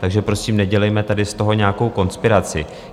Takže prosím, nedělejme tady z toho nějakou konspiraci.